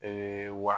Ee wa